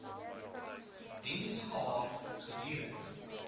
diens gehad gedurend